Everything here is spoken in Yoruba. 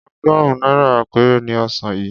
Ọgọ́rùn-ún náírà péré ni ọsàn yìí.